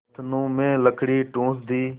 नथनों में लकड़ी ठूँस दी